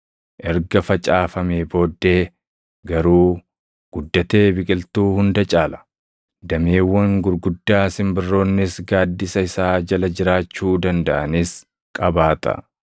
Erga facaafamee booddee garuu guddatee biqiltuu hunda caala; dameewwan gurguddaa simbirroonnis gaaddisa isaa jala jiraachuu dandaʼanis qabaata.”